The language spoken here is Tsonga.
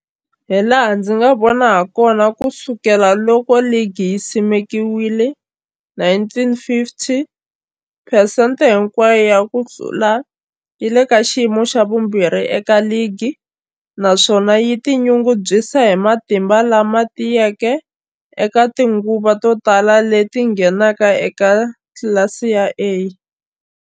Hilaha ndzi nga vona hakona, ku sukela loko ligi yi simekiwile, 1950, phesente hinkwayo ya ku hlula yi le ka xiyimo xa vumbirhi eka ligi, naswona yi tinyungubyisa hi matimba lama tiyeke eka tinguva to tala leti yi ngheneke eka tlilasi ya A.